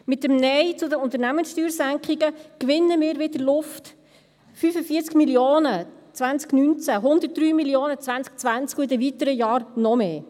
Mit dem Nein zu den Unternehmenssteuersenkungen gewinnen wir wieder Luft, 45 Mio. Franken im Jahr 2019, 103 Mio. Franken im Jahr 2020 und in den weiteren Jahren noch mehr.